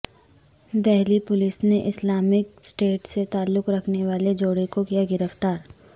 Delhi police نے Islamic State سے تعلق رکھنے والے جوڑے کو کیا گرفتار